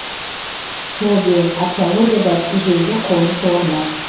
тобе археологияда ежелгі қоныс орны